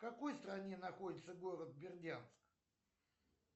в какой стране находится город бердянск